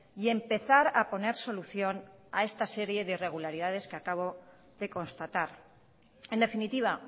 y empezar a poner solución a esta serie de irregularidades que acabo de constatar en definitiva